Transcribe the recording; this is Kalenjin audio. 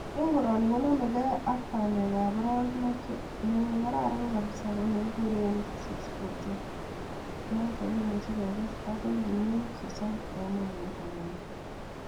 Eng koroni konamekei ak bandekab aroek loo, ne kararan kabisa kone kikuren six forteen noto kemuche kekes akoi kuniok sosom en hekait agenge.